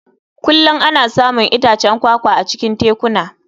Kullum ana samun itacen kwakwa a cikin tekuna.